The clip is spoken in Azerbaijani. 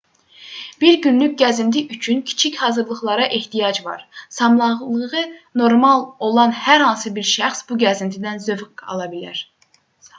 bir günlük gəzinti üçün kiçik hazırlıqlara ehtiyac var sağlamlığı normal olan hər hansı bir şəxs bu gəzintidən zövq ala bilər